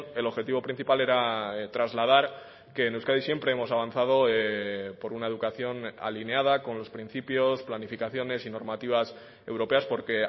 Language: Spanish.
el objetivo principal era trasladar que en euskadi siempre hemos avanzado por una educación alineada con los principios planificaciones y normativas europeas porque